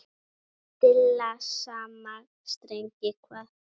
Stilla saman strengi hvað?